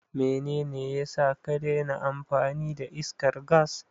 Menene yasa ka daina amfani da iskar gas?